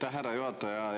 Aitäh, härra juhataja!